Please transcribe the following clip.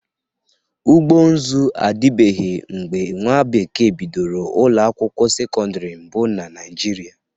Ụgbọ nzụ adịbeghị mgbe nwa bekee bidoro ụlọ akwụkwọ sekọndịrị mbụ na Naịjịrịa.